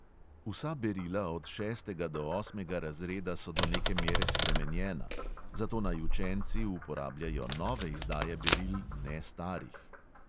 Vsa berila od šestega do osmega razreda so do neke mere spremenjena, zato naj učenci uporabljajo nove izdaje beril, ne starih.